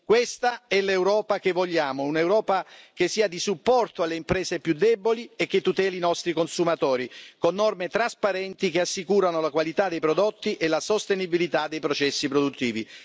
Questa è l'Europa che vogliamo un'Europa che sia di supporto alle imprese più deboli e che tuteli i nostri consumatori, con norme trasparenti che assicurino la qualità dei prodotti e la sostenibilità dei processi produttivi.